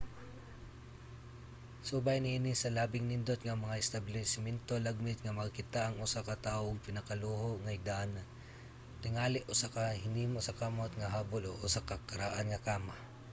subay niini sa labing nindot nga mga establisamento lagmit nga makakita ang usa ka tawo og pinakaluho nga higdaanan tingali usa ka hinimo sa kamot nga habol o usa ka karaan nga kama